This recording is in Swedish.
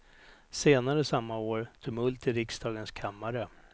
Senare samma år, tumult i riksdagens kammare.